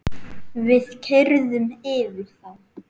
Við keyrðum yfir þá.